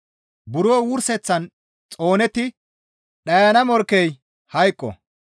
Buro wurseththan xoonetti dhayana morkkey hayqo.